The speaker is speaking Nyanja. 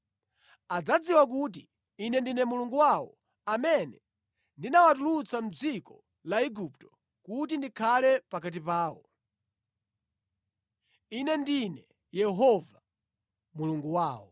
Adzadziwa kuti ine ndine Mulungu wawo amene ndinawatulutsa mʼdziko la Igupto kuti ndikhale pakati pawo. Ine ndine Yehova, Mulungu wawo.”